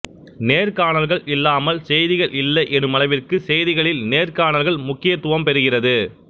நேர்காணல்கள் இல்லாமல் செய்திகள் இல்லை எனுமளவிற்கு செய்திகளில் நேர்காணல்கள் முக்கியத்துவம் பெறுகிறது